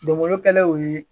Donbolokɛlew ye.